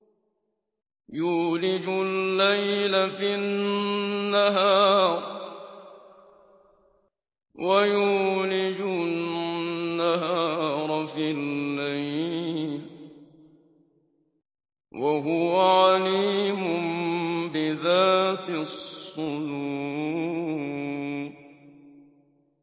يُولِجُ اللَّيْلَ فِي النَّهَارِ وَيُولِجُ النَّهَارَ فِي اللَّيْلِ ۚ وَهُوَ عَلِيمٌ بِذَاتِ الصُّدُورِ